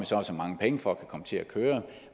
så og så mange penge for at kunne komme til at køre